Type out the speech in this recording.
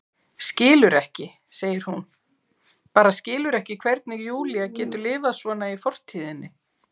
Skilur ekki, segir hún, bara skilur ekki hvernig Júlía getur lifað svona í fortíðinni.